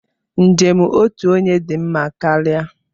Njem otu onye dị mma karịa.